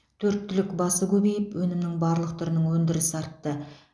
төрт түлік басы көбейіп өнімнің барлық түрінің өндірісі артты